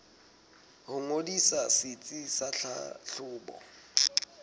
ho ngodisa setsi sa tlhahlobo